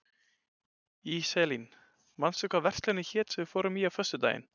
Íselín, manstu hvað verslunin hét sem við fórum í á föstudaginn?